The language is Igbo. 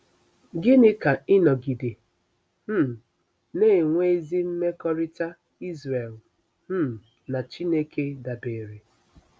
Gịnị ka ịnọgide um na-enwe ezi mmekọrịta Israel um na Chineke dabeere?